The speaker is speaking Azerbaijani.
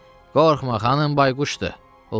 Qorxma, xanım, bayquşdur ulayır.